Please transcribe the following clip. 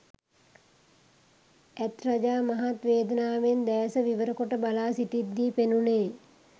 ඇත් රජා මහත් වේදනාවෙන් දෑස විවර කොට බලා සිිටිද්දී පෙනුණේ